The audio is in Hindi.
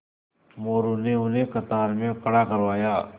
मोरू ने उन्हें कतार में खड़ा करवाया